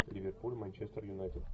ливерпуль манчестер юнайтед